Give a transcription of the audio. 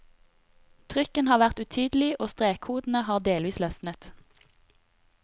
Trykken har vært utydelig, og strekkodene har delvis løsnet.